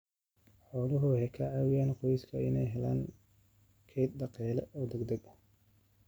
Xooluhu waxay ka caawiyaan qoysaska inay helaan kayd dhaqaale oo degdeg ah.